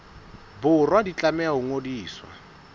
borwa di tlameha ho ngodiswa